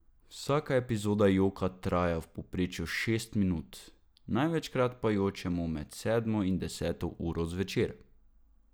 Vsaka epizoda joka traja v povprečju šest minut, največkrat pa jočemo med sedmo in deseto uro zvečer.